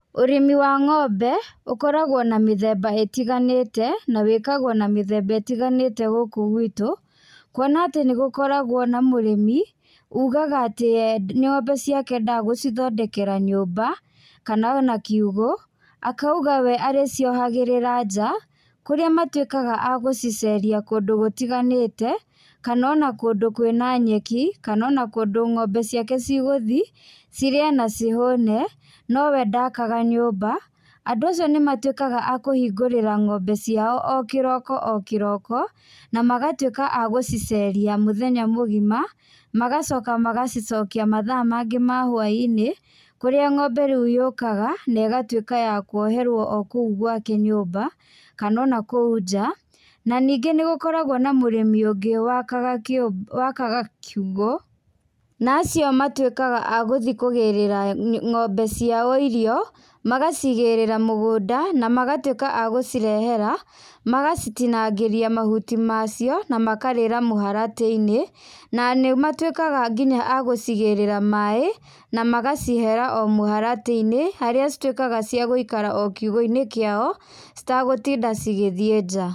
Ũrĩmi wa ngombe, ũkoragwo na mĩthemba ĩtiganĩte, na wĩkagwo na mĩthemba ĩtiganĩte gũkũ gwitũ, kuona atĩ nĩgũkoragwo na mũrĩmi, ũgaga atĩ e ngombe ndagũcithondekera nyumba, kana ona kiũgũ, akauga we arĩciohagĩrĩra nja, kũrĩa matuĩkaga agũciceria kũndũ gũtiganĩte, kana ona kũndũ kwĩna nyeki, kana ona kũndũ ngombe ciake cigũthiĩ, cirĩe na cihũne, no we ndakaga nyũmba. Andũ acio nĩmatuĩkaga a kũhingũrĩra ngombe ciao o kĩroko o kĩroko, na magatuĩka a gũciceria mũthenya mũgima, magacoka magacicokia mathaa mangĩ ma hwainĩ, kũrĩa ngombe rĩu yũkaga na ĩgatuĩka ya kuoherwo o kuũ gwake nyũmba, kana ona kũu nja, na ningĩ nĩgũkoragwo na mũrĩmi ũngũ wakaga kiu wakaga kiugũ, na acio matuĩkaga a gũthiĩ kũgĩrĩra ngombe ciao irio, magacigĩrĩra mũgunda, na magatuĩka a gũcirehera, magacitinangĩria mahuti macio, na makarĩra mũharatĩinĩ, na nĩmatuĩkaga nginya agucigĩrira maĩ, na magacihera o mũharatĩinĩ, harĩa cituĩkaga cia gũikara o kiugũinĩ kiao, citagũtinda cigĩthiĩ nja.